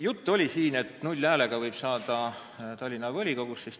Siin oli juttu, et null häälega võib saada Tallinna volikogusse.